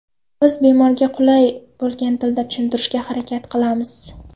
Biz bemorga qulay bo‘lgan tilda tushuntirishga harakat qilamiz.